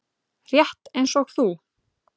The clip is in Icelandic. Rétt eins og þú.